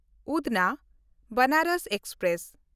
ᱩᱫᱷᱱᱟ–ᱵᱮᱱᱟᱨᱚᱥ express